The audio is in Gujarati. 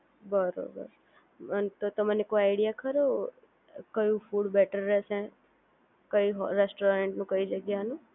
બરોબર, તો તમને કોઈ આઈડિયા ખરો કયું ફૂડ બેટર રહેશે કઈ રેસ્ટોરન્ટનું કઈ જગ્યાનું